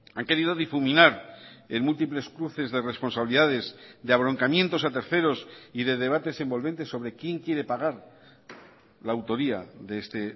han querido difuminar en múltiples cruces de responsabilidades de abroncamientos a terceros y de debates envolventes sobre quién quiere pagar la autoría de este